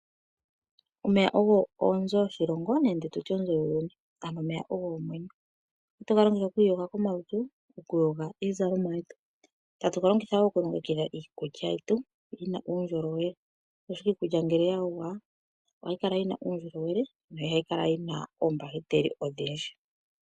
Omeya ogo oonzo yoshilongo nenge tutye oonzo dhuuyuni, ano omeya ogo omwenyo. Ohatu ga longitha oku iyoga komalutu, no kuyoga iizalomwa, ta tu ga longitha woo oku longekidha iikulya yetu yina uundjolowele, oshoka iikulya ngele yayogwa, iha yi kala yina oombahiteli odhindji.